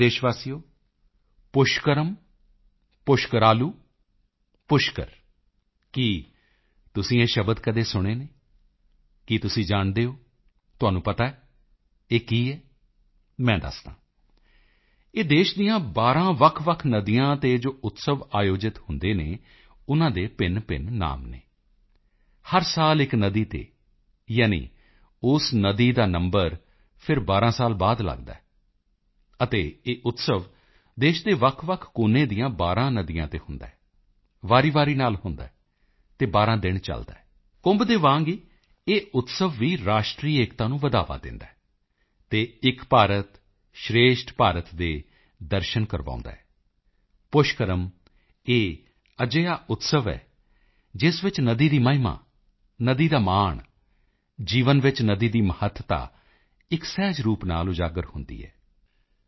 ਮੇਰੇ ਪਿਆਰੇ ਦੇਸ਼ਵਾਸੀਓ ਪੁਸ਼ਕਰਮ ਪੁਸ਼ਕਰਾਲੂ ਪੁਸ਼ਕਰ ਕੀ ਤੁਸੀਂ ਇਹ ਸ਼ਬਦ ਕਦੇ ਸੁਣੇ ਹਨ ਕੀ ਤੁਸੀਂ ਜਾਣਦੇ ਹੋ ਤੁਹਾਨੂੰ ਪਤਾ ਹੈ ਇਹ ਕੀ ਹੈ ਮੈਂ ਦੱਸਦਾ ਹਾਂ ਇਹ ਦੇਸ਼ ਦੀਆਂ 12 ਵੱਖਵੱਖ ਨਦੀਆਂ ਤੇ ਜੋ ਉਤਸਵ ਆਯੋਜਿਤ ਹੁੰਦੇ ਹਨ ਉਨ੍ਹਾਂ ਦੇ ਭਿੰਨਭਿੰਨ ਨਾਮ ਹਨ ਹਰ ਸਾਲ ਇਕ ਨਦੀ ਤੇ ਯਾਨੀ ਉਸ ਨਦੀ ਦਾ ਨੰਬਰ ਫਿਰ 12 ਸਾਲ ਬਾਅਦ ਲੱਗਦਾ ਹੈ ਅਤੇ ਇਹ ਉਤਸਵ ਦੇਸ਼ ਦੇ ਵੱਖਵੱਖ ਕੋਨੇ ਦੀਆਂ 12 ਨਦੀਆਂ ਤੇ ਹੁੰਦਾ ਹੈ ਵਾਰੀਵਾਰੀ ਨਾਲ ਹੁੰਦਾ ਹੈ ਅਤੇ 12 ਦਿਨ ਚੱਲਦਾ ਹੈ ਕੁੰਭ ਦੇ ਵਾਂਗ ਹੀ ਇਹ ਉਤਸਵ ਵੀ ਰਾਸ਼ਟਰੀ ਏਕਤਾ ਨੂੰ ਵਧਾਵਾ ਦਿੰਦਾ ਹੈ ਅਤੇ ਏਕ ਭਾਰਤ ਸ਼੍ਰੇਸ਼ਠ ਭਾਰਤ ਦੇ ਦਰਸ਼ਨ ਕਰਵਾਉਦਾ ਹੈ ਪੁਸ਼ਕਰਮ ਇਹ ਅਜਿਹਾ ਉਤਸਵ ਹੈ ਜਿਸ ਵਿੱਚ ਨਦੀ ਦੀ ਮਹਿਮਾ ਨਦੀ ਦਾ ਮਾਣ ਜੀਵਨ ਵਿੱਚ ਨਦੀ ਦੀ ਮਹੱਤਤਾ ਇਕ ਸਹਿਜ ਰੂਪ ਨਾਲ ਉਜਾਗਰ ਹੁੰਦੀ ਹੈ